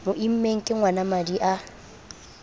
mo immeng ke ngwanamadi a